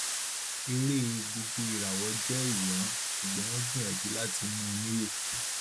eré gbogboìràwọ jẹ ìwòran ṣùgbọn wọn gbìyànjú láti mú un níye